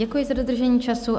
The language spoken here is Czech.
Děkuji za dodržení času.